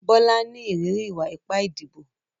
Bola ń ní ìrírí ìwà ipá ìdìbò.